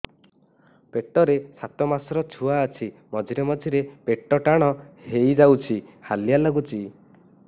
ପେଟ ରେ ସାତମାସର ଛୁଆ ଅଛି ମଝିରେ ମଝିରେ ପେଟ ଟାଣ ହେଇଯାଉଚି ହାଲିଆ ଲାଗୁଚି